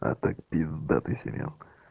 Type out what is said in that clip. а так пиздатый сериал